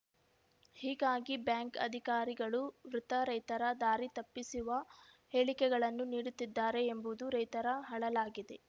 ಹೀಗಾಗಿ ಬ್ಯಾಂಕ್‌ ಅಧಿಕಾರಿಗಳು ವೃಥಾ ರೈತರ ದಾರಿ ತಪ್ಪಿಸುವ ಹೇಳಿಕೆಗಳನ್ನು ನೀಡುತ್ತಿದ್ದಾರೆ ಎಂಬುದು ರೈತರ ಅಳಲಾಗಿದೆ